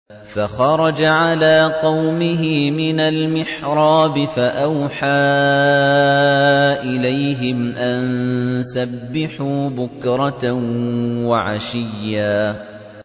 فَخَرَجَ عَلَىٰ قَوْمِهِ مِنَ الْمِحْرَابِ فَأَوْحَىٰ إِلَيْهِمْ أَن سَبِّحُوا بُكْرَةً وَعَشِيًّا